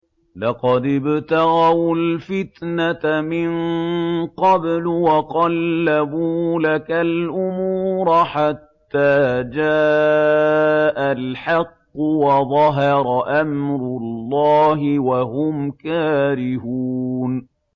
لَقَدِ ابْتَغَوُا الْفِتْنَةَ مِن قَبْلُ وَقَلَّبُوا لَكَ الْأُمُورَ حَتَّىٰ جَاءَ الْحَقُّ وَظَهَرَ أَمْرُ اللَّهِ وَهُمْ كَارِهُونَ